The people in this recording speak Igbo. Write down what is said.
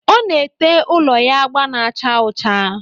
Ọ na-ete ụlọ ya agba na-acha ọcha